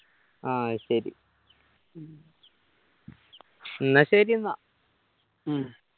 ആഹ് അത് ശരി എന്നാ ശരി എന്നാ